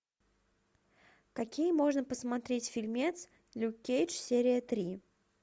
какие можно посмотреть фильмец люк кейдж серия три